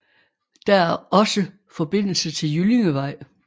Der er også forbindelse til Jyllingevej